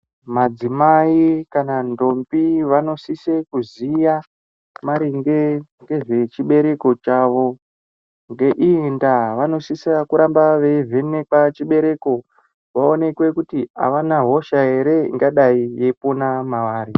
Madzimayi kana ntombi vanosise kuziya maringe ngezvechibereko chavo. Nge iyi ndava vanosise kuramba vevhenekwa chibereko kuti havana hosha here ingadai ipona mavari.